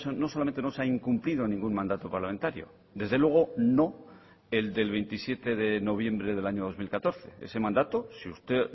no solamente no se ha incumplido ningún mandato parlamentario desde luego no el del veintisiete de noviembre del año dos mil catorce ese mandato si usted